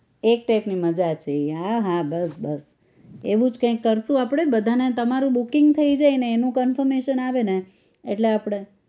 એક type ની મજા છે ઈ હા હા બસ બસ એવું જ કાંઈક કરશું આપણે બધાને તમારું booking થઇ જાયને એનું confirmation આવે ને એટલે આપણે